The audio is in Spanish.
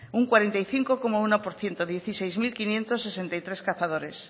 un cuarenta y cinco coma uno por ciento dieciséis mil quinientos sesenta y tres cazadores